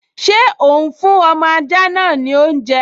Ṣé òún fún ọmọ ajá náà ní oúnjẹ?